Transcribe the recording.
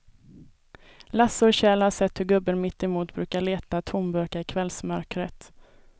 Lasse och Kjell har sett hur gubben mittemot brukar leta tomburkar i kvällsmörkret.